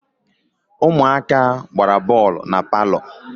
Ụmụaka gbara bọọlụ na palọ